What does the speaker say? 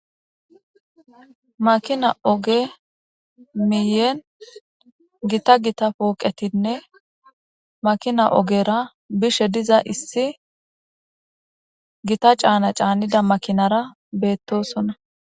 makina oge miyen gita gita pooqetinne makina ogera bishe diza issi gita caana caanida makinara beettosona